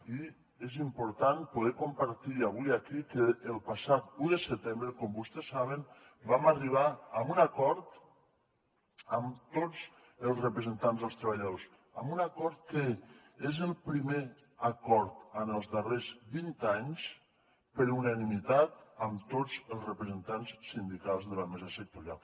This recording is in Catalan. i és important poder compartir avui aquí que el passat un de setembre com vostès saben vam arribar a un acord amb tots els representants dels treballadors a un acord que és el primer acord en els darrers vint anys per unanimitat amb tots els representants sindicals de la mesa sectorial